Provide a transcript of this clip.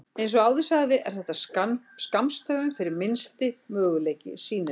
Eins og áður sagði er þetta skammstöfun fyrir Minnsti mögulegi sýnileiki.